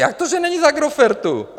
Jak to, že není z Agrofertu?